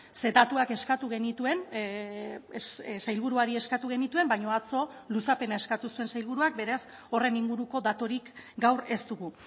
ze datuak eskatu genituen sailburuari eskatu genituen baina atzo luzapena eskatu zuen sailburuak beraz horren inguruko daturik gaur ez dugu